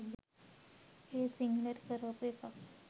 ඒත් සිංහලට හරවපු එකක්